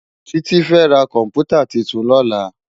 Titi fè rá kòmpútá tútún lòlá